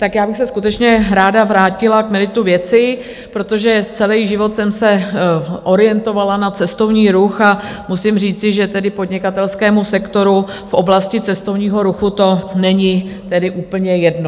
Tak já bych se skutečně ráda vrátila k meritu věci, protože celý život jsem se orientovala na cestovní ruch a musím říci, že tedy podnikatelskému sektoru v oblasti cestovního ruchu to není tedy úplně jedno.